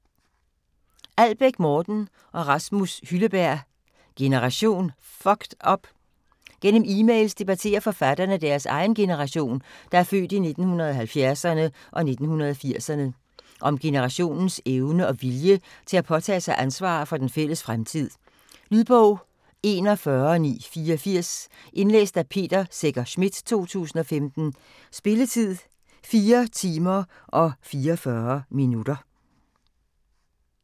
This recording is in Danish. Albæk, Morten og Rasmus Hylleberg: Generation fucked up? Gennem emails debatterer forfatterne deres egen generation, der er født i 1970'erne og 1980'erne. Om generationens evne og vilje til at påtage sig ansvar for den fælles fremtid. Lydbog 41984 Indlæst af Peter Secher Schmidt, 2015. Spilletid: 4 timer, 44 minutter.